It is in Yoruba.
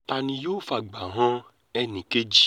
ta ni yóò fàgbà han ẹnì kejì